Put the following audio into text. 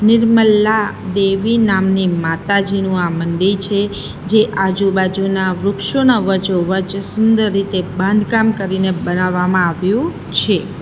નિર્મલા દેવી નામની માતાજીનું આ મંદિર છે જે આજુબાજુના વૃક્ષોના વચોવચ સુંદર રીતે બાંધકામ કરીને બનાવવામાં આવ્યું છે.